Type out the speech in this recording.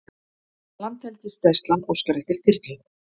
Landhelgisgæslan óskar eftir þyrlu